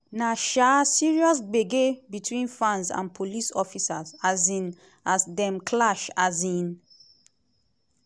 na um serious gbege between fans and police officers um as dem clash. um